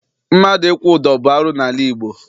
Mmadụ ịkwụ ụdọ bụ arụ n'ala Igbo.